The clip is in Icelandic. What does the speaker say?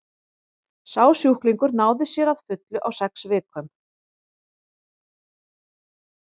sá sjúklingur náði sér að fullu á sex vikum